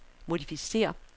modificér